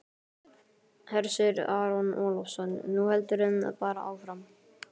Hersir Aron Ólafsson: Nú heldurðu bara áfram?